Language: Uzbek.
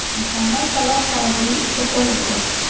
Muhammad Saloh xayrli ishga qo‘l urdi.